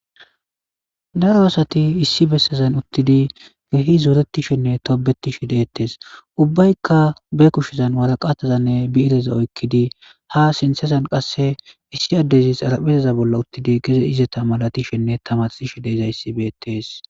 Daro asati issi bessezan uttidi gehi zuretishenne toobeti shi deettes ubbaykka be kushshezan waraqatazanne biireza oykkidi ha sintezan qasse issi addezis araphezeza bolla uttidi geze izata malatishenne tamaxi shi deiza yissi beetees.